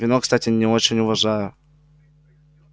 вино кстати не очень уважаю